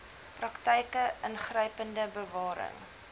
praktyke ingrypende bewaring